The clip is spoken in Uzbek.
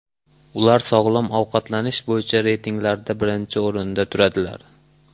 Ular sog‘lom ovqatlanish bo‘yicha reytinglarda birinchi o‘rinda turadilar.